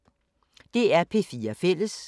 DR P4 Fælles